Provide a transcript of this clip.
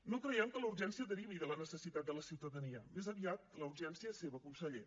no creiem que la urgència derivi de la necessitat de la ciutadania més aviat la urgència és seva conseller